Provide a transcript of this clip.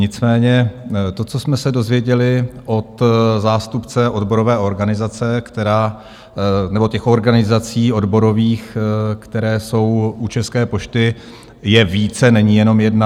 Nicméně to, co jsme se dozvěděli od zástupce odborové organizace... nebo těch organizací odborových, které jsou u České pošty, je více, není jenom jedna.